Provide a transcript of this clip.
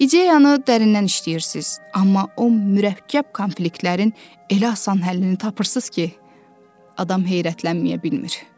İdeyanı dərindən işləyirsiz, amma o mürəkkəb konfliktlərin elə asan həllini tapırsız ki, adam heyrətlənməyə bilmir.